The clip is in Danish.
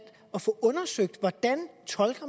at få undersøgt hvordan